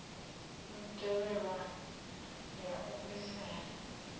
u tevhelwa ya u bvisela